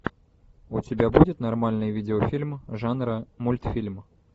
у тебя будет нормальный видеофильм жанра мультфильм